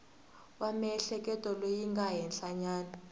wa miehleketo lowu nga henhlanyana